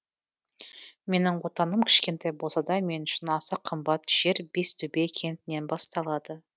менің отаным кішкентай болса да мен үшін аса қымбат жер бестөбе кентінен басталады